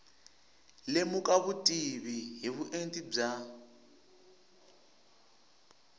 lemuka vutivi hi vuenti bya